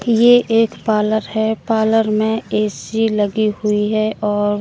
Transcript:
ये एक पार्लर है पार्लर में ए_सी लगी हुई है और--